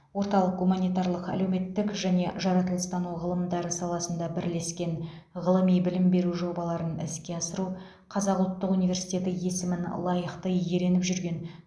орталық гуманитарлық әлеуметтік және жаратылыстану ғылымдары саласында бірлескен ғылыми білім беру жобаларын іске асыру қазақ ұлттық университеті есімін лайықты иеленіп жүрген